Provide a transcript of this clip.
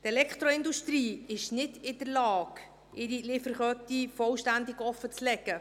Die Elektroindustrie ist nicht in der Lage, ihre Lieferkette vollständig offenzulegen.